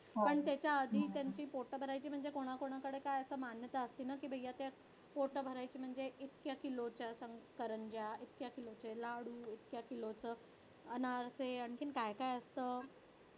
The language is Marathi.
पण त्याच्या आधी त्यांची पोट भरायची म्हणजे कोणाकोणाकडे काय असं मान्यता असते ना की पोटं भरायची म्हणजे इतक्या किलोच्या करंज्या, इतक्या किलोचे लाडू, इतक्या किलोचं अनारसे आणखीन काय काय असतं.